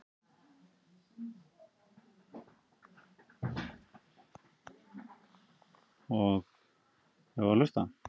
HANN HEFÐI GJARNAN VILJAÐ LESA LENGUR Í